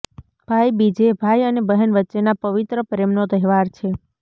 ભાઈબીજએ ભાઈ અને બહેન વચ્ચેના પવિત્ર પ્રેમનો તહેવાર છે